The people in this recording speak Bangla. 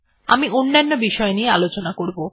আমরা অন্যন্য বিষয় আলোচনা করবো